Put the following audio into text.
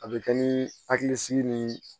A bɛ kɛ ni hakilisigi ni